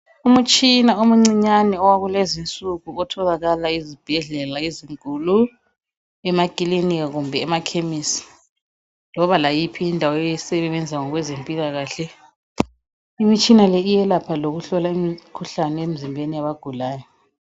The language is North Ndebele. Umutshina omncinyane owakulezinsuku otholakala ezibhedlela ezinkulu, emakilinika kumbe emakhemisi loba layiphi indawo esebenza ngokwezempilakahle, imitshina le iyelapha lokuhlola imikhuhlane emizimbeni yabagulayo.